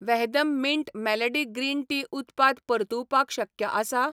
वहदम mint melody green tea उत्पाद परतुवपाक शक्य आसा?